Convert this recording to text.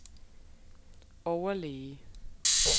overlæge